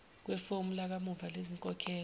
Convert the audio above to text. kwefomu lakamuva lezinkokhelo